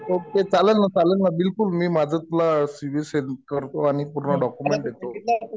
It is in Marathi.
ओके. चालेल ना. चालेल ना. बिलकुल मी माझं सी वि तुला सेंड करतो. आणि पूर्ण डॉक्युमेंट देतो.